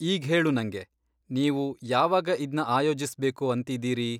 ಈಗ್ಹೇಳು ನಂಗೆ, ನೀವು ಯಾವಾಗ ಇದ್ನ ಆಯೋಜಿಸ್ಬೇಕು ಅಂತಿದ್ದೀರಿ?